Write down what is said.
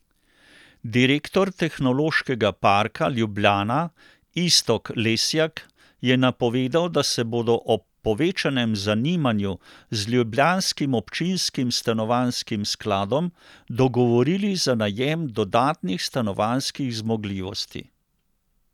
Direktor Tehnološkega parka Ljubljana Iztok Lesjak je napovedal, da se bodo ob povečanem zanimanju z ljubljanskim občinskim stanovanjskim skladom dogovorili za najem dodatnih stanovanjskih zmogljivosti.